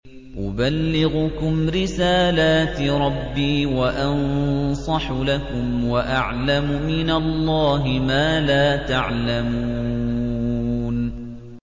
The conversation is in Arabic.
أُبَلِّغُكُمْ رِسَالَاتِ رَبِّي وَأَنصَحُ لَكُمْ وَأَعْلَمُ مِنَ اللَّهِ مَا لَا تَعْلَمُونَ